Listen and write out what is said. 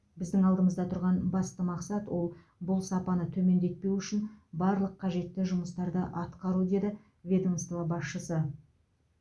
біздің алдымызда тұрған басты мақсат ол бұл сапаны төмендетпеу үшін барлық қажетті жұмыстарды атқару деді ведомство басшысы